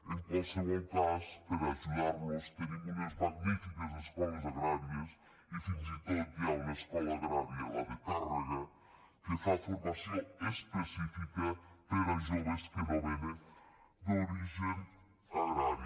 en qualsevol cas per ajudar los tenim unes magnifiques escoles agràries i fins i tot hi ha una escola agrària la de tàrrega que fa formació específica per a joves que no venen d’origen agrari